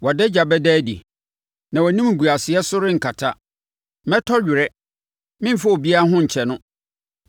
Wʼadagya bɛda adi na wʼanimguaseɛ so renkata. Mɛtɔ were; memfa obiara ho nkyɛ no.”